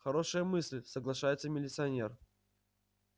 хорошая мысль соглашается милиционер